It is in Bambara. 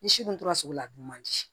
Ni si kun tora sugu la a dun man di